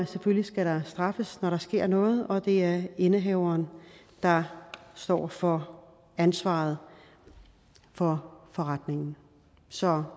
selvfølgelig skal straffes når der sker noget og det er indehaveren der står for ansvaret for forretningen så